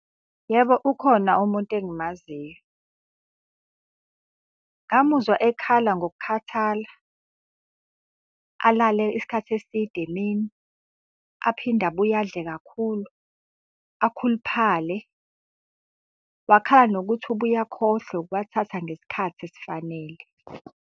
Yebo ukhona umuntu engimaziyo. Ngamuzwa ekhala ngokukhathala, alale isikhathi eside emini, aphinde abuye adle kakhulu, akhuluphale. Wakhala ngokuthi ubuye akhohlwe ukuwathatha ngesikhathi esifanele.